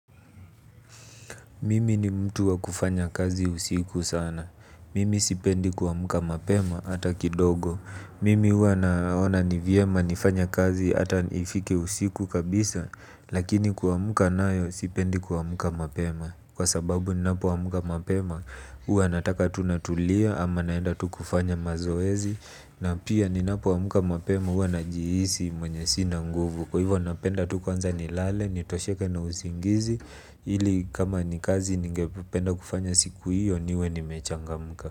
Mimi ni mtu wa kufanya kazi usiku sana. Mimi sipendi kuamka mapema ata kidogo. Mimi huwa naona ni vyema nifanye kazi ata nifike usiku kabisa, lakini kuamka nayo sipendi kuamka mapema. Kwa sababu ninapoamka mapema huwa nataka tu natulia ama naenda tu kufanya mazoezi. Na pia ninapoamka mapema huwa najihisi mwenye sina nguvu. Kwa hivyo napenda tu kwanza nilale. Nitosheke na usingizi. Ili kama ni kazi ningependa kufanya siku hiyo niwe nimechangamka.